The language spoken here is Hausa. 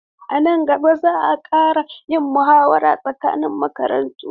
A nan gaba za a ƙara yin muhawara tsakanin makarantu.